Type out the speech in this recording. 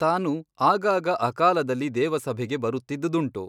ತಾನು ಆಗಾಗ ಅಕಾಲದಲ್ಲಿ ದೇವಸಭೆಗೆ ಬರುತ್ತಿದ್ದುದುಂಟು.